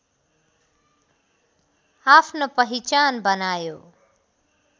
आफ्नो पहिचान बनायो